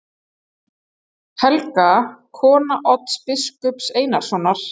Helga, kona Odds biskups Einarssonar.